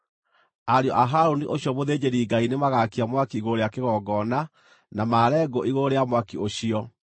Ariũ a Harũni ũcio mũthĩnjĩri-Ngai nĩmagaakia mwaki igũrũ rĩa kĩgongona na maare ngũ igũrũ rĩa mwaki ũcio.